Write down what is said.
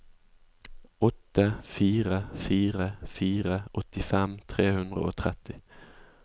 åtte fire fire fire åttifem tre hundre og tretti